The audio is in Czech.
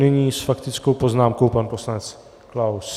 Nyní s faktickou poznámkou pan poslanec Klaus.